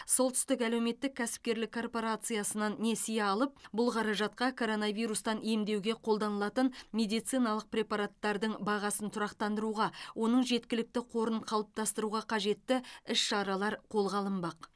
солтүстік әлеуметтік кәсіпкерлік корпорациясынан несие алынып бұл қаражатқа коронавирустан емдеуге қолданылатын медициналық препараттардың бағасын тұрақтандыруға оның жеткілікті қорын қалыптастыруға қажетті іс шаралар қолға алынбақ